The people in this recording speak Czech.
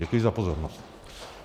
Děkuji za pozornost.